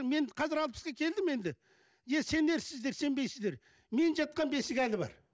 мен қазір алпысқа келдім енді е сенерсіздер сенбейсіздер мен жатқан бесік әлі бар